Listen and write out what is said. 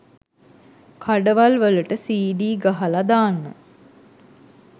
කඩවල් වලට සීඩී ගහල දාන්න